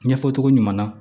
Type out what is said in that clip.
Ɲɛfɔ cogo ɲuman na